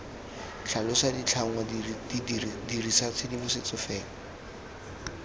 tlhalosa ditlhangwa dirisa tshedimosetso fela